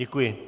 Děkuji.